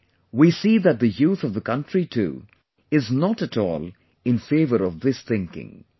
Today, we see that the youth of the country too is not at all in favour of this thinking